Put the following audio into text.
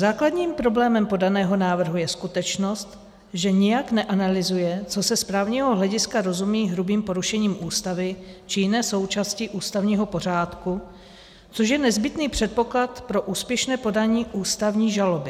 Základním problémem podaného návrhu je skutečnost, že nijak neanalyzuje, co se z právního hlediska rozumí hrubým porušením Ústavy či jiné součásti ústavního pořádku, což je nezbytný předpoklad pro úspěšné podání ústavní žaloby.